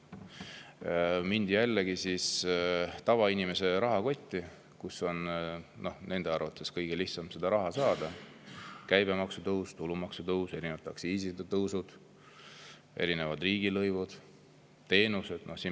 Mindi jällegi tavainimese rahakoti, kust on nende arvates kõige lihtsam raha saada: käibemaksu tõus, tulumaksu tõus, erinevate aktsiiside ja riigilõivude tõusud, teenuste.